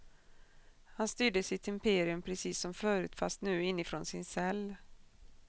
Han styrde sitt imperium precis som förut fast nu inifrån sin cell.